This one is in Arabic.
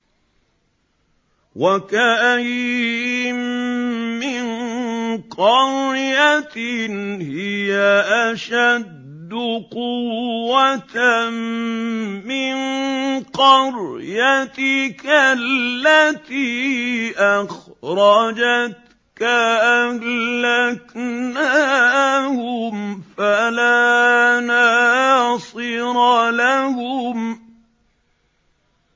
وَكَأَيِّن مِّن قَرْيَةٍ هِيَ أَشَدُّ قُوَّةً مِّن قَرْيَتِكَ الَّتِي أَخْرَجَتْكَ أَهْلَكْنَاهُمْ فَلَا نَاصِرَ لَهُمْ